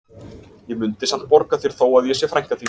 Ég mundi samt borga þér þó að ég sé frænka þín